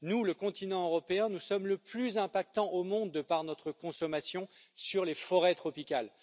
Nous, le continent européen, nous sommes le plus impactant au monde, de par notre consommation, sur les forêts tropicales.